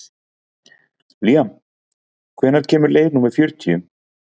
Líam, hvenær kemur leið númer fjörutíu?